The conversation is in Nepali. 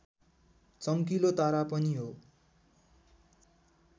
चम्किलो तारा पनि हो